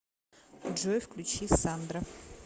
джой включи сандра